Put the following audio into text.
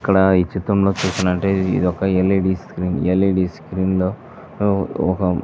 ఇక్కడ ఈ చిత్రంలో చూసినట్టయితే ఇది ఒక L. E. D. Screen L. E. D. Screen లో ఒక --